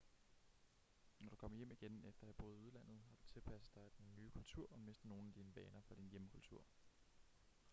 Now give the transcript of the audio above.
når du kommer hjem igen efter at have boet i udlandet har du tilpasset dig den nye kultur og mistet nogle af dine vaner fra din hjemkultur